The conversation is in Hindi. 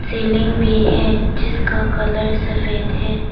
बिल्डिंग भी है जिसका कलर सफेद है।